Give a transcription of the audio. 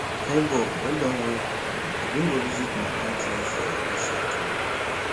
nebor well Accepted o we bin go visit my aunty for inside town